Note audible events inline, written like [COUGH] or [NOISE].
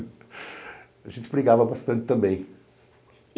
[LAUGHS] A gente brigava bastante também.